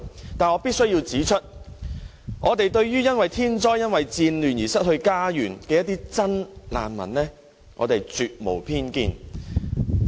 但是，我必須指出，對於因為天災或戰亂而失去家園的真難民，我們絕無偏見。